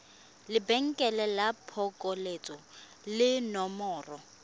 lebenkele la phokoletso le nomoro